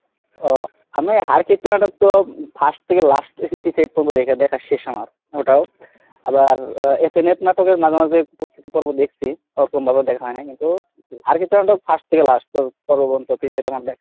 ও আমি হাড় কিপটা নাটক তো first থেকে last episode পর্যন্ত দেখার শেষ আমার, ওটাও আবার FNF নাটকের মাঝে মাঝে কিছু পর্ব দেখছি ওরকম ভাবে দেখা হয় নাই, কিন্তু হাড় কিপটে নাটক first থেকে Last পর্যন্ত episode আমার দেখা।